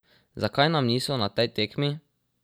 Zakaj nam niso na tej tekmi?